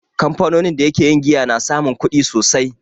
Kamfanonin da ke yin giya na samun kudi sosai.